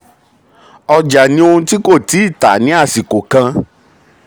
ọjà ni ohun tí kò tíì tà ní àsìkò kan.